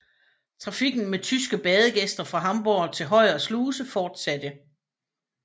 Trafikken med tyske badegæster fra Hamborg til Højer Sluse fortsatte